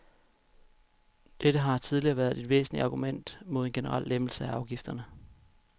Dette har tidligere været et væsentligt argument mod en generel lempelse af afgifterne.